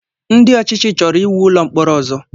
Ndị ọchịchị chọrọ íwú ụlọ mkpọrọ ọzọ